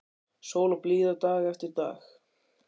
Sól og blíða dag eftir dag.